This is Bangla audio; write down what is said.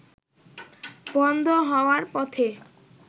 বন্ধ হওয়ার পথে